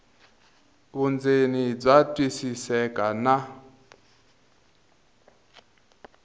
vundzeni bya twisiseka na